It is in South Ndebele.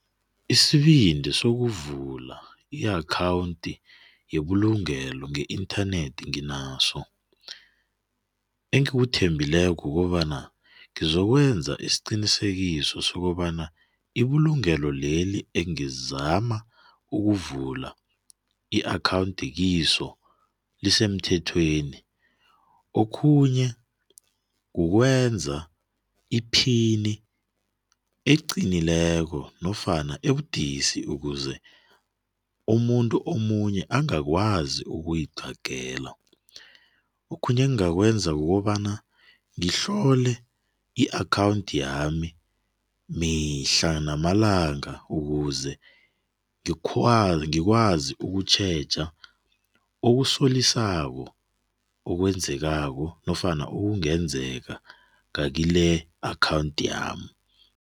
Isibindi sokuvula i-akhawundi yebulugelo nge-internet nginaso engikuthembileko kukobana ngizokwenza isiqinisekiso sokobana ibulungelo leli engizama ukuvula i-akhawundi kiso lisemthethweni. Okhunye kukwenza iphini eliqinileko nofana ebudisi ukuze umuntu omunye angakwazi ukuyiqagela. Okhunye engakwenza kukobana ngihlole i-akhawundi yami mihla namalanga ukuze ngikwazi ukutjheja okusolisako ekwenzekako nofana ekungenzeka ngakile akhawundi yami.